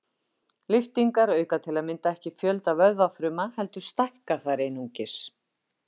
Lyftingar auka til að mynda ekki fjölda vöðvafruma heldur stækka þær einungis.